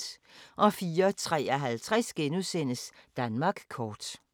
04:53: Danmark kort *